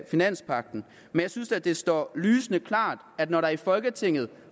finanspagten men jeg synes at det står lysende klart at når der i folketinget